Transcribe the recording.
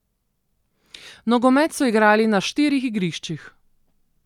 Nogomet so igrali na štirih igriščih.